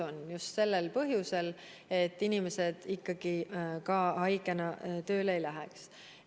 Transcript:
Tegime seda just sellel põhjusel, et inimesed haigena ikkagi tööle ei läheks.